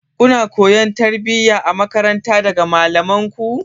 Kuna koyon tarbiyya a makaranta daga malamanku?